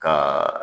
Ka